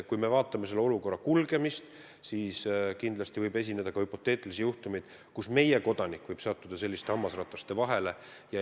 Kui me vaatame konkreetset asjade arengut, siis on selge, et kindlasti võib ette tulla hüpoteetilisi juhtumeid, kus meie kodanik sattub selliste hammasrataste vahele.